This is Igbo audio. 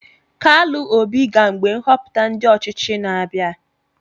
KALU OBI ga mgbe nhoputa ndi ochichi na-abia.